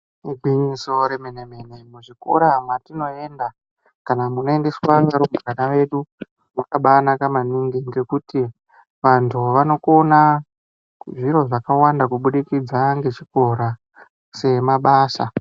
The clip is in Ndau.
Igwinyiso remene mene muzvikora mwatinoenda kana munoendeswa vanyari vana vedu mwakabaanaka maningi ngekuti antu anokona zviro zvakawanda kubudikidza ngechikora semabasa.